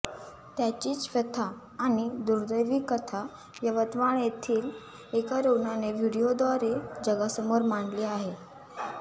त्याचीच व्यथा आणि दुर्दैवी कथा यवतमाळ येथील एका रुग्णाने व्हिडिओद्वारे जगासमोर मांडली आहे